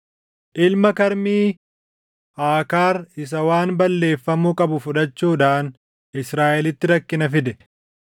Ilma Karmii: Aakaar isa waan balleeffamuu qabu fudhachuudhaan Israaʼelitti rakkina fide.